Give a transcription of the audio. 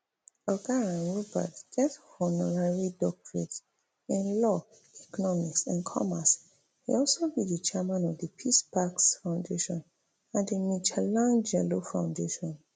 oga um rupert get honorary doctorates in law economics and commerce e also be di chairman of di peace parks foundation and di michelangelo foundation